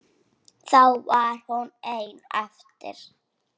Þá varð hún ein eftir.